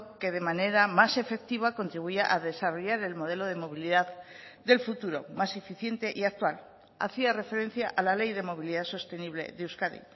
que de manera más efectiva contribuya a desarrollar el modelo de movilidad del futuro más eficiente y actual hacía referencia a la ley de movilidad sostenible de euskadi